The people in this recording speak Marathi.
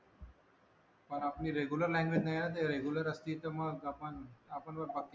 पण आपली लाँगुयेज नाही आहे ना ते रेग्युलर असते तर मग आपण